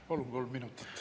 Palun kolm minutit lisaaega.